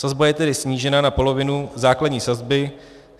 Sazba je tedy snížena na polovinu základní sazby.